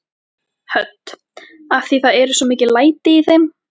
Hödd: Af því það eru svo mikil læti í þeim?